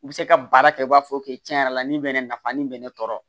U bɛ se ka baara kɛ i b'a fɔ k'i tiɲɛ yɛrɛ la nin bɛ ne nafa nin bɛ ne tɔɔrɔ